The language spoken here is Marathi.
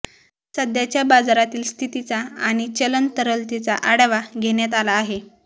सध्याच्या बाजारातील स्थितीचा आणि चलन तरलतेचा आढावा घेण्यात आला आहे